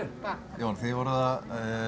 Jón þið voruð að